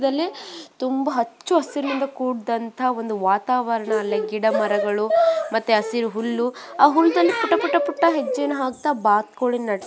ತುಂಬ ಹಚ್ಚ ಹಸಿರಿನಿಂದ ಕುಡಿದಂತಹ ಒಂದು ವಾತಾವರಣ ಅಲ್ಲಿ ಗಿಡ ಮರಗಳು ಮತ್ತೆ ಹಸಿರು ಹುಲ್ಲು ಆಹ್ಹ್ ಹುಲ್ಲುದಲ್ಲಿ ಪುಟ್ಟ ಪುಟ್ಟ ಹೆಜ್ಜೆನ ಹಾಕ್ತಾ ಬಾತುಕೋಳಿ --